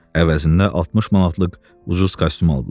Əvəzində 60 manatlıq ucuz kostyum aldılar.